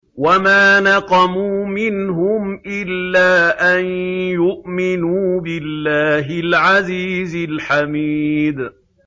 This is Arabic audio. وَمَا نَقَمُوا مِنْهُمْ إِلَّا أَن يُؤْمِنُوا بِاللَّهِ الْعَزِيزِ الْحَمِيدِ